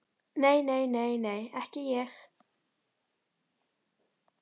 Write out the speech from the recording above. Nei, nei, nei, nei, ekki ég.